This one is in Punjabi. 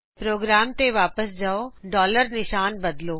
ਪ੍ਰੋਗਰਾਮ ਤੇ ਵਾਪਿਸ ਜਾਓ ਨਿਸ਼ਾਨ ਬਦਲੋ